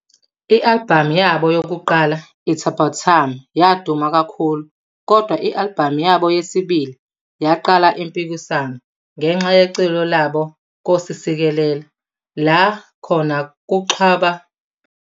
iAlbhamu yabo yokuqala "'It's About Time"' ya duma kakhulu kodwa ialbhamu yabo yesibili yadala impikisano ngenxa yeculo labo 'Nkosi Sikelela' la khona baxhuba ingoma yezwe.